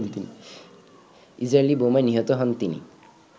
Israeli বোমায় নিহত হন তিনি